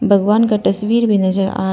भगवान का तस्वीर भी नजर आ--